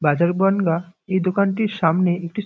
brother Bongaon এই দোকানটির সামনে একটি --